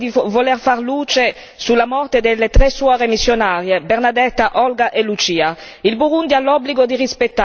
Bob Rugurika è colpevole di voler far luce sulla morte delle tre suore missionarie, Bernadetta, Olga e Lucia.